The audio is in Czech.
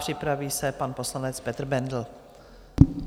Připraví se pan poslanec Petr Bendl.